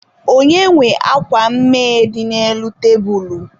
Onye nwe akwa mmee dị n'elu tebulu?